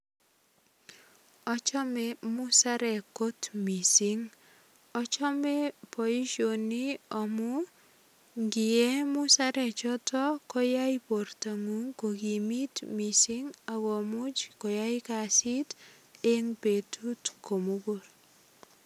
Achome musarek kot mising. Achome boisioni amu ngie musarechoto koyai bortangung kogimit mising ak komuch koyai kasit eng betut komugul.